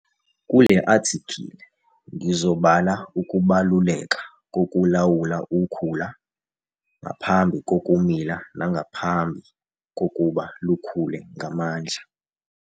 Kule athikhili ngizobala ukubaluleka kokulawula ukhula ngaphambi kokumila nangaphambi kokuba lukhule ngamandla.